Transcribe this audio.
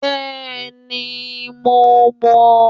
Béèni mo mò ó